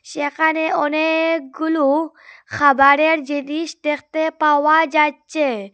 যেখানে অনেকগুলু খাবারের জিনিস দেখতে পাওয়া যাচ্ছে।